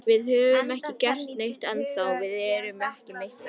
Við höfum ekki gert neitt ennþá, við erum ekki meistarar.